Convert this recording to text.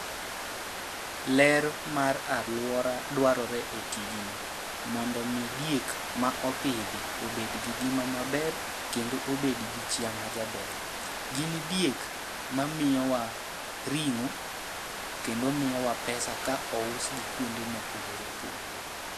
Ler mar alwora dwarore e tijni, mondo mi diek ma opidhi obed gi ngima maber kendo obed gi chiya ma jaber. Gin diek ma miyowa ring'o kendo miyowa pesa ka ous gi kuonde mopogore opogore.